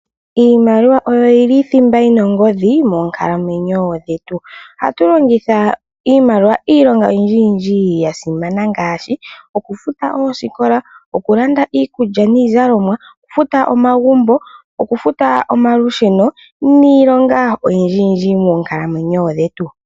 Iimaliwa oyo yili thimba yi na ogodhi moonkalamwenyo dhetu. Ohatu longitha iimaliwa iilonga oyindji ya simana ngaashi ngaashi oku futa oosikola, oku landa iikulya niizalomwa , oku futa omagumbo, oku futa omalusheno niilonga oyindji yindji moonkalamwenyo dhetu.